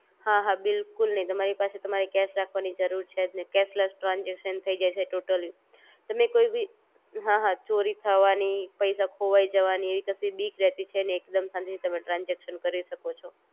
હા હા બિલકુલ નહિ તમારી પાસે તમારે કેશ રાખવાની જરૂર છે જ નહિ કેશલેસ ટ્રાનજેક્શન થઈ જાઇ છે ટોટલી તમે કોઈ ભી, હા હા ચોરી થવાની, પૈસા ખોવાઈ જવાની એવી કસી બીક રેતી છે નહિ એકદમ શાંતિ થી તમે ટ્રાનજેક્શન થઈ જાઇ છે ટોટલી